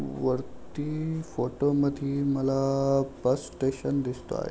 वरती फोटोमधी मला बस स्टेशन दिसतो आहे.